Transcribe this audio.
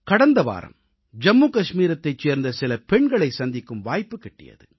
கடந்த வாரம் ஜம்மு காஷ்மீரைச் சேர்ந்த சில பெண்களைச் சந்திக்கும் வாய்ப்பு கிட்டியது